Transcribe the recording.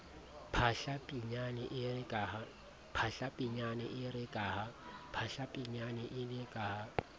phahla pinyane ere ka ha